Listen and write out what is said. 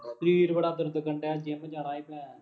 ਸਰੀਰ ਬੜਾ ਦਰਦ ਕਰਨ ਡਿਆ ਜਿੰਮ ਜਾਣਾ ਸੀ ਮੈਂ